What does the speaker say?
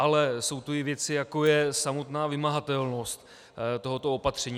Ale jsou tu i věci, jako je samotná vymahatelnost tohoto opatření.